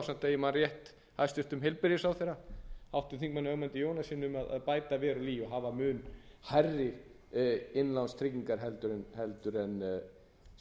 ásamt ef ég man rétt hæstvirtur heilbrigðisráðherra háttvirtum þingmanni ögmundi jónassyni um að bæta verulega í og hafa mun hærri innlánstryggingar heldur en